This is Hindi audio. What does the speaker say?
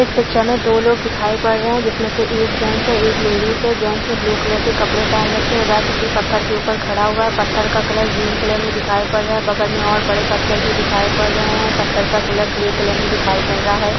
इस पिक्चर में दो लोग दिखाई पड रहे है जिसमें से एक जेन्ट्स है एक लेडीज है | जेन्ट्स ने ब्लू कलर के कपड़े पहन रखे है वह किसी पत्थर के उपर खड़ा हुआ है पत्थर का कलर ग्रीन कलर में दिखाई पड़ रहा है बगल में और बड़े पत्थर भी दिखाई पड़ रहे है पत्थर का कलर ग्रे कलर में दिखाई पड़ रहा है।